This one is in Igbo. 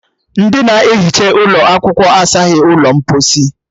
Ndị na-ehicha ụlọ asaghi ụlọ mposi